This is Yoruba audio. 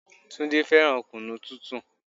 Túndé fẹ́ràn kunu tútù.